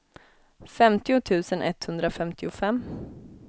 femtio tusen etthundrafemtiofem